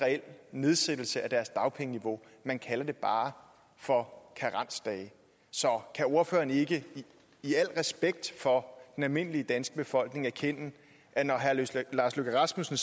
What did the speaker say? reel nedsættelse af deres dagpengeniveau man kalder det bare for karensdage så kan ordføreren ikke i al respekt for den almindelige danske befolkning erkende at når herre lars løkke rasmussen